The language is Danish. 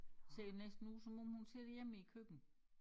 Ser næsten ud som om hun sidder hjemme i æ køkken